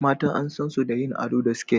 Mata an san su da yin ado da siket